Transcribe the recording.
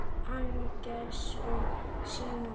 Agnes og Símon.